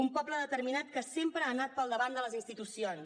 un poble determinat que sempre ha anat per davant de les institucions